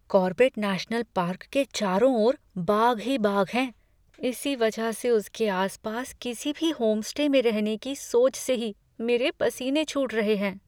Corbett national park के चारों ओर बाघ ही बाघ हैं। इसी वजह से उसके आसपास किसी भी होमस्टे में रहने की सोच के ही मेरे पसीने छूट रहे हैं।